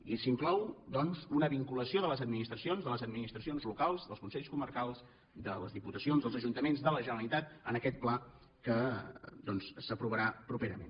i s’inclou doncs una vinculació de les administracions de les administracions locals dels consells comarcals de les diputacions dels ajuntaments de la generalitat en aquest pla que s’aprovarà properament